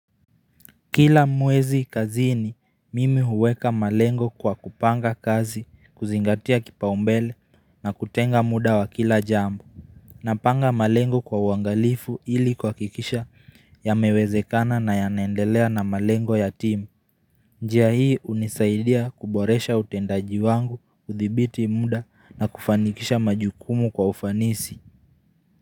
Kila mwezi kazini, mimi huweka malengo kwa kupanga kazi, kuzingatia kipaumbele na kutenga muda wa kila jambo. Napanga malengo kwa wangalifu ili kuhakikisha yamewezekana na yana naendelea na malengo ya timu. Njia hii hunisaidia kuboresha utendaji wangu, uthibiti muda na kufanikisha majukumu kwa ufanisi.